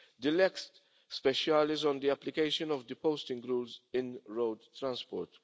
the lex specialis on the application of the posting rules in road transport.